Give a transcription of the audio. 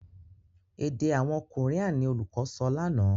èdè àwọn Korean ní olùkó sọ lànà.